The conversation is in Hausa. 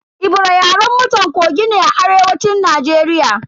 Ebira Yaren mutan Kogi ne a arewacin Najeriya.